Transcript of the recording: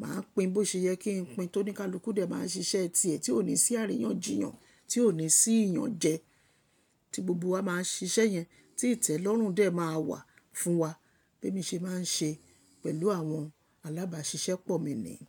Máa pín bó ṣe yẹ kí n pín, t'óníkálukú dẹ̀ máa ṣiṣẹ́ ti ẹ̀ tí ò ní sí àríyànjiyàn, tí ò ní sí ìyànjẹ́. Tí gbogbo wa máa ṣiṣẹ́ yẹn, tí ìtẹ́lọ́rùn dẹ̀ máa wà fún wa. Bí èmi ṣe máa ń ṣe pẹ̀lú àwọn alábáṣiṣẹ́pọ̀ mi ni.